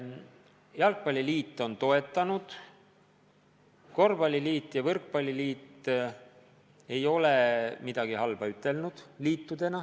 Jalgpalliliit on toetanud, korvpalliliit ja võrkpalliliit ei ole midagi halba ütelnud.